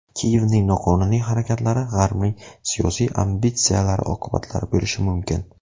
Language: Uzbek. Kiyevning noqonuniy harakatlari G‘arbning siyosiy ambitsiyalari oqibatlari bo‘lishi mumkin.